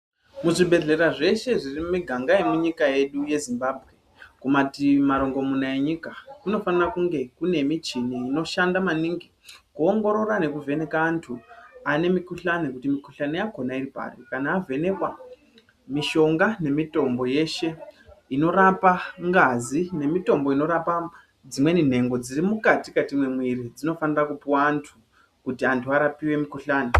Muzvibhedhlera zveshe zviri munyika yedu yeZimbabwe kumativi marongomunya enyika kunofana kunge kune michini inoshanda maningi inoongorora nekuvheneke wandu ane mikhuhlani kuti mikhuhlani yacho iripapi kana avhenekwa mishonga nemitombo yeshe inorapa ngazi nemitombo inorapa dzimweni nhngondziri mwukati mwemuwiri dzinofanirwa kupuwa wandu kuti wandu warapiwe mikhuhlani.